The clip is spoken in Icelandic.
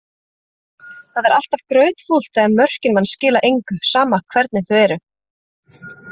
Það er alltaf grautfúlt þegar mörkin manns skila engu, sama hvernig þau eru.